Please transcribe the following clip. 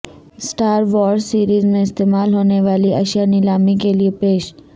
star Wars series میں استعمال ہونے والی اشیاء نیلامی کیلئے پیش